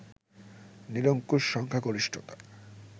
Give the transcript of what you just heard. নিরঙ্কুশ সংখ্যাগরিষ্ঠতা